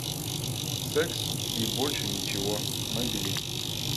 секс и больше ничего набери